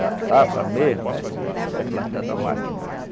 Da safra mesmo, é, é plantada a máquina.